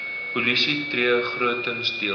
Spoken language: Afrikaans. polisie tree grotendeels